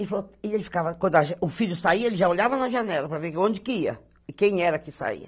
E ele ficava, quando o filho saía, ele já olhava na janela para ver onde que ia, e quem era que saía.